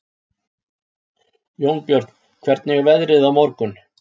Jónbjörn, hvernig er veðrið á morgun?